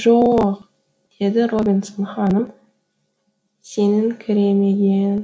жо оқ деді робинсон ханым сеніңкіремеген